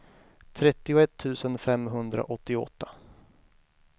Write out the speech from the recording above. trettioett tusen femhundraåttioåtta